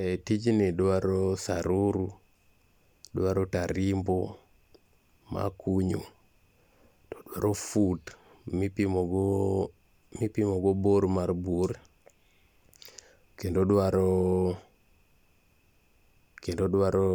Eh tijni dwaro saruru, dwaro tarimbo mar kunyo. To dwaro fut mipimo go bor mar bur, kendo dwaro kendo dwaro